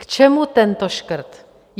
K čemu tento škrt?